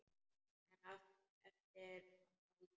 En eftir að Baldur.